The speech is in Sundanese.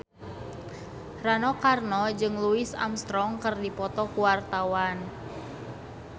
Rano Karno jeung Louis Armstrong keur dipoto ku wartawan